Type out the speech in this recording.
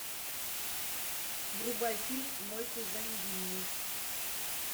врубай фильм мой кузен винни